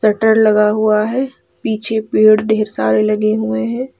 टर लगा हुआ है पीछे पेड़ ढेर सारे लगे हुए हैं।